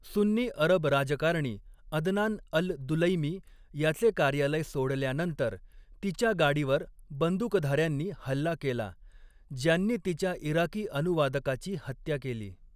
सुन्नी अरब राजकारणी Adnan al Dulaimi याचे कार्यालय सोडल्यानंतर, तिच्या गाडीवर बंदूकधाऱ्यांनी हल्ला केला, ज्यांनी तिच्या इराकी अनुवादकाची हत्या केली.